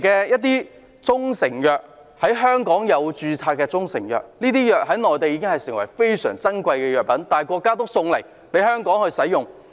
有些中成藥已在香港註冊，這些藥物在內地非常珍貴，但國家仍送給香港使用。